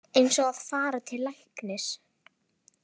Eins og að fara til læknis